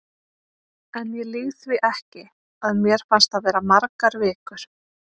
En ég lýg því ekki, að mér fannst það vera margar vikur.